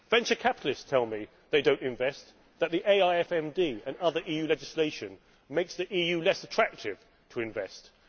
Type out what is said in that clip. Venture capitalists tell me they do not invest, that the AIFMD and other EU legislation make the EU less attractive to investment.